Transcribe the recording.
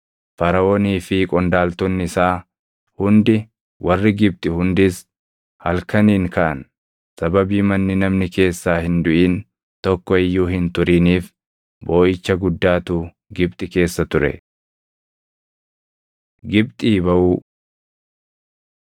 Faraʼoonii fi qondaaltonni isaa hundi, warri Gibxi hundis halkaniin kaʼan; sababii manni namni keessaa hin duʼin tokko iyyuu hin turiniif booʼicha guddaatu Gibxi keessa ture. Gibxii Baʼuu